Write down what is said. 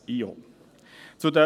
er ist für uns in Ordnung.